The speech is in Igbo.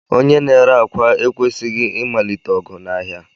Onye n'ére akwa ekwesighi imalite ogwu nʻáhia.